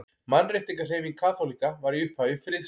Mannréttindahreyfing kaþólikka var í upphafi friðsamleg.